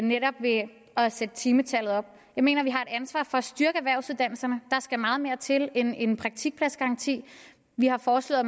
netop ved at sætte timetallet op jeg mener vi har et ansvar for at styrke erhvervsuddannelserne der skal meget mere til end en praktikpladsgaranti vi har foreslået at